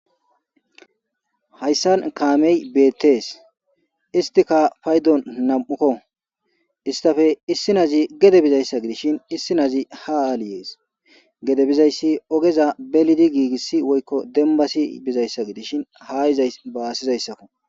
Haysan kaameyi be'etees. Istika paydon namako. Isstappe issinazi gede bizayssa gidishin issinazi ha aliees. Gede bizaysi ogeza belidi gigishe woyko dembasi bizayssa gidishin ha izays baasizaysako.